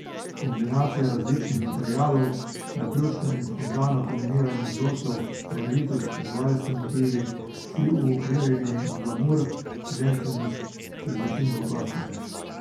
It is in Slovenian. Kombinacija različnih materialov, naključno in spontano kombiniranje vzorcev, barvitost, živalski motivi, vsi uokvirjeni v glamur, ženstvenost z začimbo klasike ...